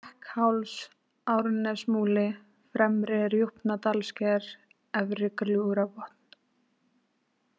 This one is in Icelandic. Hrekkháls, Árnanesmúli, Fremri-Rjúpnadalssker, Efri-Gljúfrabotn